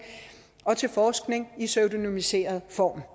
og til forskning i pseudonymiseret form